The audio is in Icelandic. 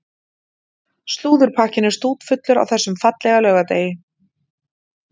Slúðurpakkinn er stútfullur á þessum fallega laugardegi.